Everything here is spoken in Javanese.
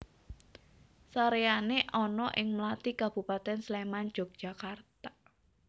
Saréyané ana ing Mlati Kabupatèn Sléman Jogjakarta